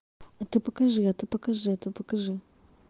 а ты покажи а ты покажи это покажи